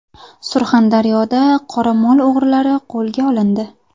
Surxondaryoda qoramol o‘g‘rilari qo‘lga olindi.